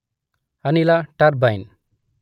ಅನಿಲ ಟರ್ಬೈನ್